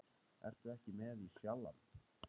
Ertu ekki með í Sjallann?